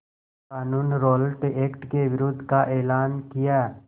क़ानून Rowlatt Act के विरोध का एलान किया